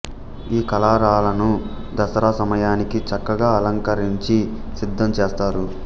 ఈ కళారాలను దసరా సమయానికి చక్కగా అలంకరించి సిద్ధం చేస్తారు